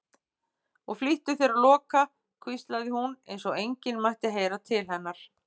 Og flýttu þér að loka, hvíslaði hún, eins og enginn mætti heyra til hennar.